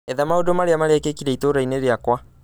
etha maũndũ marĩa merekika itũũra-inĩ rĩakwa